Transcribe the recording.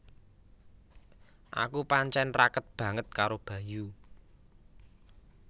Aku pancen raket banget karo Bayu